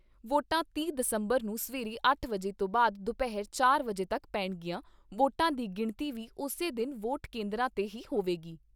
ਵੋਟਾਂ ਤੀਹ ਦਸੰਬਰ ਨੂੰ ਸਵੇਰੇ ਅੱਠ ਵਜੇ ਤੋਂ ਬਾਅਦ ਦੁਪਹਿਰ ਚਾਰ ਵਜੇ ਤੱਕ ਪੈਣਗੀਆਂ ਵੋਟਾਂ ਦੀ ਗਿਣਤੀ ਵੀ ਉਸੇ ਦਿਨ ਵੋਟ ਕੇਂਦਰਾਂ ਤੇ ਹੀ ਹੋਵੇਗੀ।